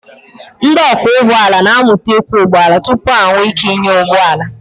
Ndị ọkwọ ụgbọala na-amụta ịkwọ ụgbọala tupu ha enwee ike ịnya ụgbọ ala.